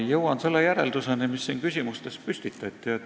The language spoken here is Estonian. Jõuan selle järelduseni, mis siin küsimustes püstitati.